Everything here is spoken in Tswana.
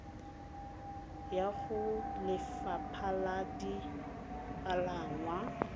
ya go lefapha la dipalangwa